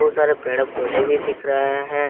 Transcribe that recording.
बहुत सारे पेड़ पौधे भी दिख रहे हैं।